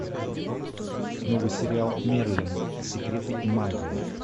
новый сериал мерлин секреты и магия